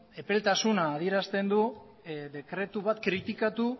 epeltasuna adierazten du dekretu bat kritikatu